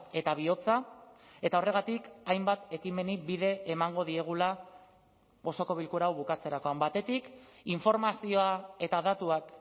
eta bihotza eta horregatik hainbat ekimeni bide emango diegula osoko bilkura hau bukatzerakoan batetik informazioa eta datuak